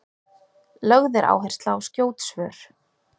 lögð er áhersla á skjót svör